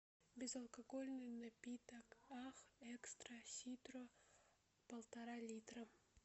безалкогольный напиток ах экстра ситро полтора литра